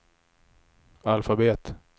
alfabet